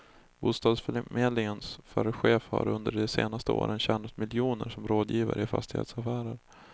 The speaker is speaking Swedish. Bostadsförmedlingens förre chef har under de senaste åren tjänat miljoner som rådgivare i fastighetsaffärer.